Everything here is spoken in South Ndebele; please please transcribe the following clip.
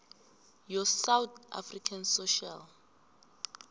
yosouth african social